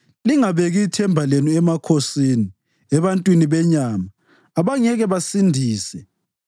Lingabeki ithemba lenu emakhosini, ebantwini benyama, abangeke basindise.